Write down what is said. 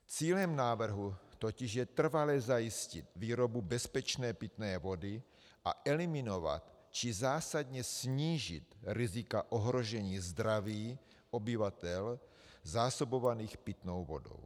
Cílem návrhu totiž je trvale zajistit výrobu bezpečné pitné vody a eliminovat či zásadně snížit rizika ohrožení zdraví obyvatel zásobovaných pitnou vodou.